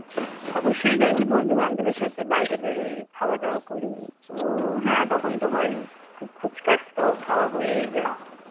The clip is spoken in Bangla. অবশ্যই যাই. বন্ধু বান্ধবের সাথে বাইরে বেরোই খাওয়া দাওয়া করি ও হ্যাঁ তখন তো হয়ই খুচকাচ তো খাওয়া হয়েই যায়.